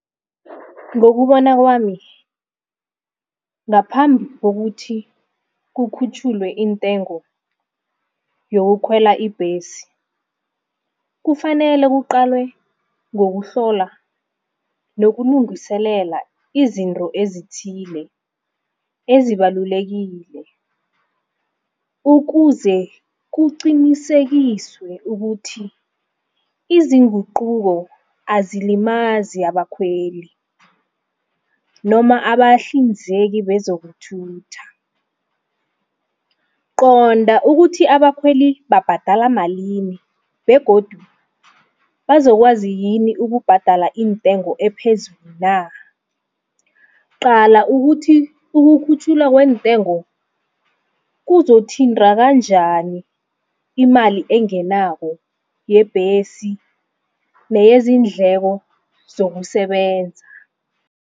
Ngokubona kwami ngaphambi kokuthi kukhutjhulwe intengo yokukhwela ibhesi. Kufanele kuqalwe ngokuhlola nokulungiselela izinto ezithile ezibalulekile. Ukuze kuqinisekiswe ukuthi izinguquko azilimazi abakhweli noma abahlinzeki bezokuthutha. Qonda ukuthi abakhweli babhadela malini begodu bazokwazi yini ukubhadala intengo ephezulu na. Qala ukuthi ukukhutjhulwa kwentengo kuzothinta kanjani imali engenako yebhesi neyezindleko zokusebenza.